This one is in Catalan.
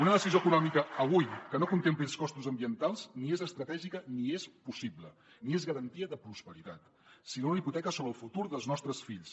una decisió econòmica avui que no contempli els costos ambientals ni és estratègica ni és possible ni és garantia de prosperitat sinó una hipoteca sobre el futur dels nostres fills